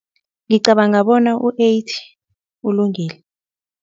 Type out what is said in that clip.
Ngicabanga bona u-eighty ulungile.